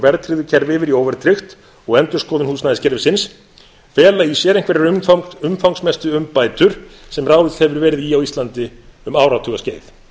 verðtryggðu kerfi yfir í óverðtryggt og endurskoðun húsnæðiskerfisins fela í sér einhverjar umfangsmestu umbætur sem ráðist hefur verið í á íslandi um áratuga skeið